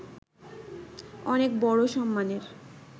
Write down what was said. অনেক বড় সম্মানের